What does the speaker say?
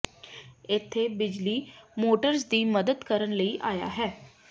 ਇੱਥੇ ਬਿਜਲੀ ਮੋਟਰਜ਼ ਦੀ ਮਦਦ ਕਰਨ ਲਈ ਆਇਆ ਹੈ